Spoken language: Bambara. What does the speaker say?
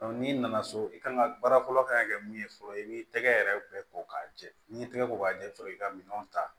n'i nana so i kan ka baara fɔlɔ kan ka kɛ mun ye fɔlɔ i b'i tɛgɛ yɛrɛ bɛɛ ko k'a jɛ n'i ye tɛgɛ ko k'a jɛ i bɛ sɔrɔ k'i ka minɛnw ta